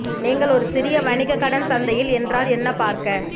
நீங்கள் ஒரு சிறிய வணிக கடன் சந்தையில் என்றால் என்ன பார்க்க